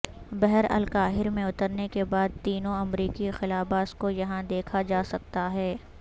بحرالکاہل میں اترنے کے بعد تینوں امریکی خلاباز کو یہاں دیکھا جا سکتا ہے